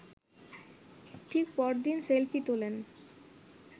ঠিক পরদিনই সেলফি তোলেন